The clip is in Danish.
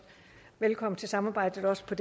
fast på